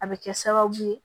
A bɛ kɛ sababu ye